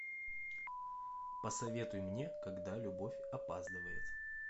посоветуй мне когда любовь опаздывает